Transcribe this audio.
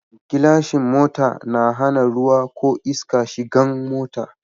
Gilashin mota na hana ruwa ko iska shigan mota